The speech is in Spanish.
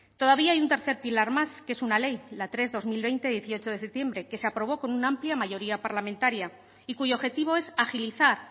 todavía hay un tercer pilar más que es una ley la tres barra dos mil veinte dieciocho de septiembre que se aprobó con una amplia mayoría parlamentaria y cuyo objetivo es agilizar